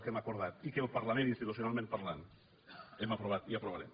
que hem acordat i que el parlament institucionalment parlant hem aprovat i aprovarem